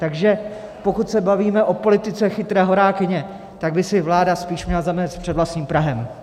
Takže pokud se bavíme o politice chytré horákyně, tak by si vláda spíš měla zamést před vlastním prahem.